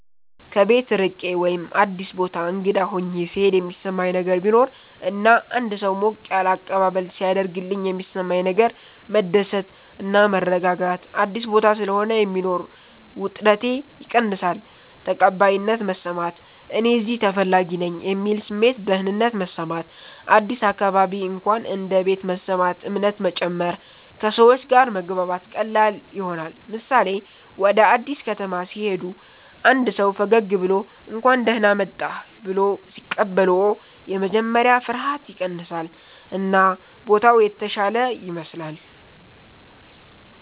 ከቤት ርቄ ወይም አዲስ ቦታ እንግዳ ሆኘ ሥሄድ የሚሠማኝ ነገር ቢኖር እና አንድ ሰው ሞቅ ያለ አቀባበል ሢያደርግልኝ የሚሠማኝ ነገር መደሰት እና መረጋጋት – አዲስ ቦታ ስለሆነ የሚኖር ውጥረቴ ይቀንሳል ተቀባይነት መሰማት – “እኔ እዚህ ተፈላጊ ነኝ” የሚል ስሜት ደህንነት መሰማት – አዲስ አካባቢ እንኳን እንደ ቤት መሰማት እምነት መጨመር – ከሰዎች ጋር መግባባት ቀላል ይሆናል ምሳሌ፦ ወደ አዲስ ከተማ ሲሄዱ አንድ ሰው ፈገግ ብሎ “እንኳን ደህና መጣህ” ብሎ ሲቀበልዎት የመጀመሪያ ፍርሃት ይቀንሳል እና ቦታው የተሻለ ይመስላል።